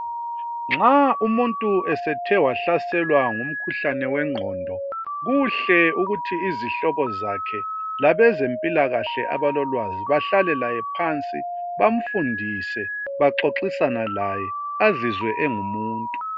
Nxa umuntu esethe wahlaselwa ngumkhuhlane wenqondo kuhle ukuthi izihlobo zakhe labezempilakahle abalolwazi bahlale laye phansi, bamfundise, baxoxisane laye, azizwe engumuntu.